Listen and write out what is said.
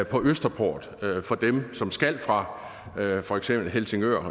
på østerport for dem som skal fra for eksempel helsingør